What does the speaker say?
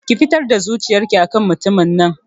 Ki fitar da zuciyar ki akan mutumin nan